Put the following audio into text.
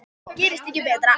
Gerist ekki betra.